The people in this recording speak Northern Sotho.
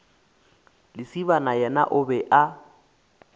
lesibana yena o be a